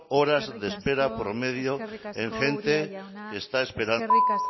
horas de espera promedio en gente que está esperando tratarse gracias eskerrik